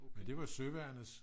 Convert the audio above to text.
men det var søværnets